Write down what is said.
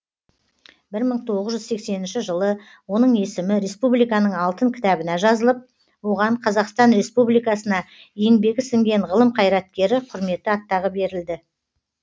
бір мың тоғыз жүз сексенінші жылы оның есімі республиканың алтын кітабына жазылып оған қазақстан республикасына еңбегі сіңген ғылым қайраткері құрметті атағы берілді